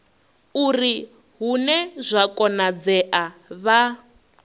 uri hune zwa konadzea vha